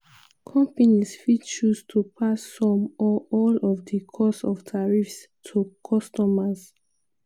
companies fit choose to pass some or all of di cost of tariffs to customers.